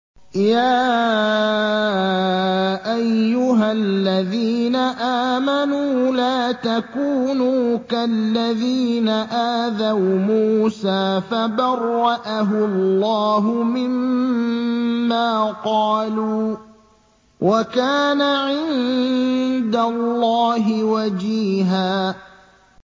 يَا أَيُّهَا الَّذِينَ آمَنُوا لَا تَكُونُوا كَالَّذِينَ آذَوْا مُوسَىٰ فَبَرَّأَهُ اللَّهُ مِمَّا قَالُوا ۚ وَكَانَ عِندَ اللَّهِ وَجِيهًا